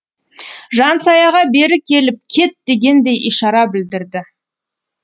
жансаяға бері келіп кет дегендей ишара білдірді